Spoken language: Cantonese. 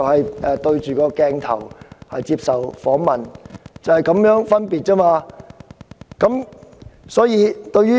我面對鏡頭接受訪問，這就是分別。